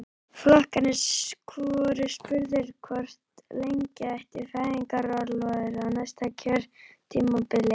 Flokkarnir voru spurðir hvort lengja ætti fæðingarorlofið á næsta kjörtímabili?